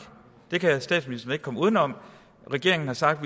det kan statsministeren ikke komme udenom regeringen har sagt